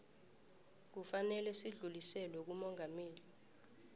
kufanele udluliselwe kumongameli